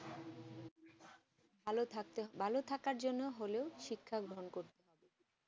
ভালো থাকার ভালো থাকার জন্য হলো শিক্ষা গ্রহণ করতে